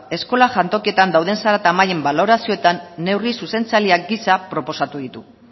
eskola jantokietan dauden zarata mailen balorazioetan neurri zuzentzaileak gisa proposatu ditu